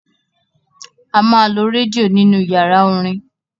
A máa lo rédíò nínú yàrá orin.